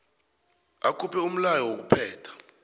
akhuphe umlayo wokuphetha